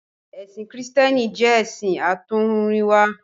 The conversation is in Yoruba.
Ẹ̀sìn Kìrìtẹ́ẹ́nì jẹ́ ẹ̀sìn àtọ́húnrìnwá.